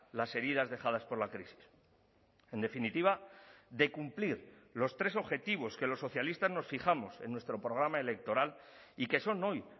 las heridas dejadas por la crisis en definitiva de cumplir los tres objetivos que los socialistas nos fijamos en nuestro programa electoral y que son hoy